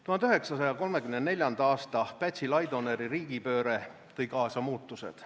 1934. aasta Pätsi-Laidoneri riigipööre tõi kaasa muutused.